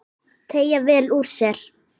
Teygja vel úr sér.